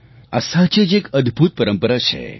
આ સાચે જ એક અદભુત પરંપરા છે